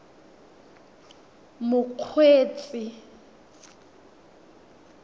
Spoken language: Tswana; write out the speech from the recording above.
mokgweetsi